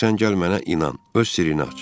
Ancaq sən gəl mənə inan, öz sirrini aç.